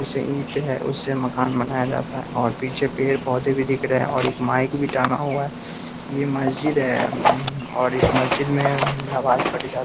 इससे ईंट है उससे मकान बनाया जाता है और पीछे पेड़-पौधे भी दिख रहे है और एक माइक भी टांगा हुआ है ये मस्जिद है अम्म और इस मस्जिद में नमाज़ पढ़ी जा --